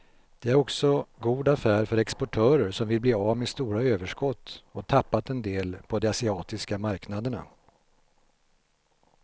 Den är också god affär för exportörer som vill bli av med stora överskott och tappat en del på de asiatiska marknaderna.